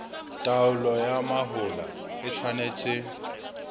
taolo ya mahola e tshwanetse